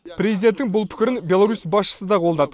президенттің бұл пікірін беларусь басшысы да қолдады